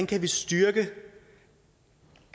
kan styrke